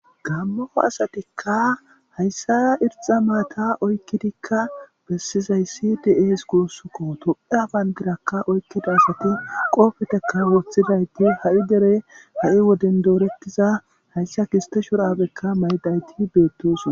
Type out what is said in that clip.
Gamo asatika hayisa irixa matta oyikidika besizasi de7es gusuko topheya banidira oyiqidaysat betesiko kopiya woxidayisatika ha dereni doretida gisite shuraba mazaytati betosona